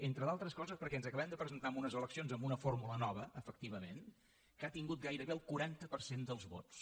entre d’altres coses perquè ens acabem de presentar a unes eleccions amb una fórmula nova efectivament que ha tingut gairebé el quaranta per cent dels vots